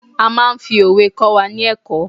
a ma n fi òwe kọ wà ní ẹkọ